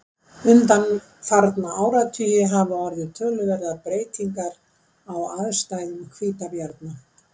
Undanfarna áratugi hafa orðið töluverðar breytingar á aðstæðum hvítabjarna.